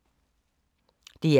DR2